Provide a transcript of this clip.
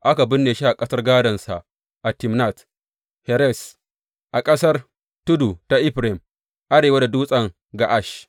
Aka binne shi a ƙasar gādonsa, a Timnat Heres a ƙasar tudu ta Efraim, arewa da Dutsen Ga’ash.